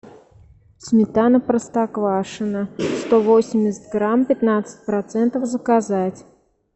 сметана простоквашино сто восемьдесят грамм пятнадцать процентов заказать